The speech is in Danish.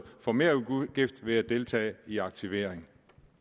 for merudgift ved at deltage i aktivering